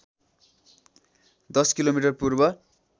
१० kilometre पूर्व